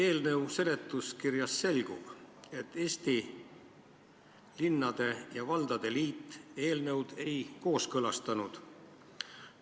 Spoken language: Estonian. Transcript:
Eelnõu seletuskirjast selgub, et Eesti Linnade ja Valdade Liit seda eelnõu kooskõlastanud ei ole.